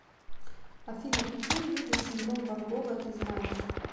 афина какие виды синдром ван гога ты знаешь